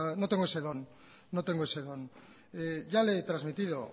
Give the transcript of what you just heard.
no no tengo ese don ya le he transmitido